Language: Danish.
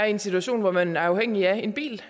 en situation hvor man er afhængig af en bil